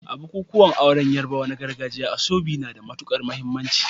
A bukukuwan auren Yarbawa na gargajiya, asoebi na da matukar muhimmanci.